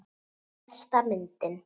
Besta myndin.